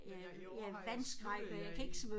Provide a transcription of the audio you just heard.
Men ja i år har jeg sluttet her i